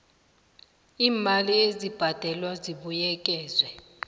iimali ezibhadelwako zibuyekezwa